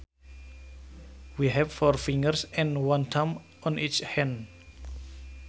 We have four fingers and one thumb on each hand